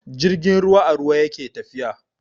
Jirgin ruwa a ruwa yake tafiya.